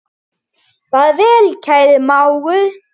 Far vel, kæri mágur.